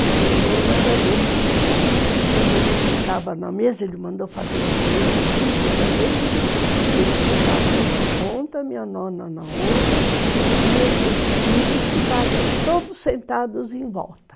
E o meu nono era desses que, quando ele sentava na mesa, ele mandou fazer uma mesa muito grande, ele sentava numa ponta, minha nona na outra, e tinha os filhos que todos sentados em volta.